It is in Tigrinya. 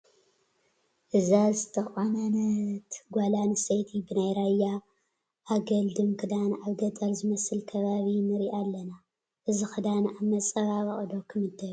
እዛ ዝተቖነነት ጓል ኣነስተይቲ ብናይ ራያ ኣገልድም ክዳን ኣብ ገጠር ዝመስል ከባቢ ንሪአ ኣለና፡፡ እዚ ክዳን ኣብ መፀባበቒ ዶ ክምደብ ይኽእል?